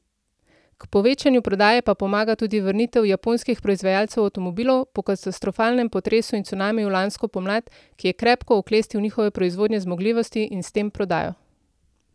K povečanju prodaje pa pomaga tudi vrnitev japonskih proizvajalcev avtomobilov, po katastrofalnem potresu in cunamiju lansko pomlad, ki je krepko oklestil njihove proizvodne zmogljivosti in s tem prodajo.